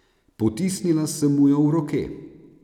Potisnila sem mu jo v roke.